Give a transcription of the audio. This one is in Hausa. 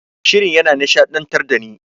Shirin yana nishaɗantar dani.